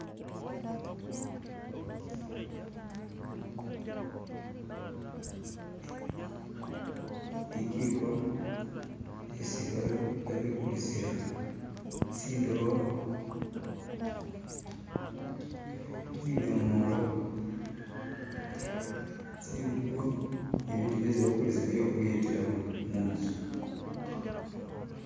Bijiko isibabikulisila tsidobo bidomolo tsingubo ni bitu byesi bakulisa byekhuyetalamu mutsu